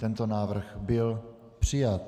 Tento návrh byl přijat.